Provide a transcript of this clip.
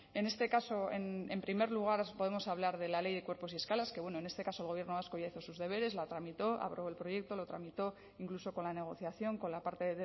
en este caso en primer lugar podemos hablar de la ley de cuerpos y escalas que bueno en este caso el gobierno vasco ya hizo sus deberes la tramitó aprobó el proyecto lo tramitó incluso con la negociación con la parte